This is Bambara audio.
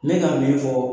Ne ka min fɔ